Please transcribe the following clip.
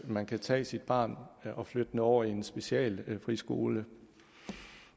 man kan tage sit barn og flytte det over i en specialfriskole